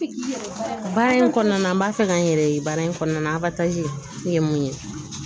Baara in kɔnɔna na an b'a fɛ ka n yɛrɛ ye baara in kɔnɔna la ye mun ye